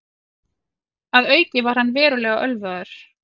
Að auki var hann verulega ölvaður